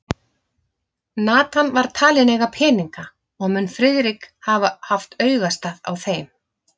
Nathan var talinn eiga peninga, og mun Friðrik hafa haft augastað á þeim.